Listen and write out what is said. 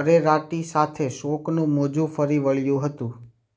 અરેરાટી સાથે શોકનું મોજુ ફરી વળ્યું હતું